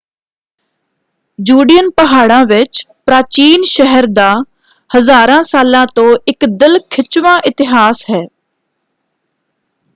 ਜੁਡੀਅਨ ਪਹਾੜਾਂ ਵਿੱਚ ਪ੍ਰਾਚੀਨ ਸ਼ਹਿਰ ਦਾ ਹਜ਼ਾਰਾਂ ਸਾਲਾਂ ਤੋਂ ਇਕ ਦਿਲ ਖਿੱਚਵਾਂ ਇਤਿਹਾਸ ਹੈ।